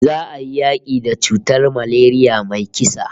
Za'a yi yaki da cutar malaria mai kisa